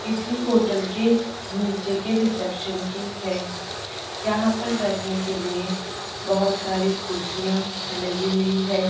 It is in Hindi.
किसी होटल के नीचे के रिसेप्शन की है यहां पर बैठने के लिए बहुत सारी कुर्सियां लगी हुई है।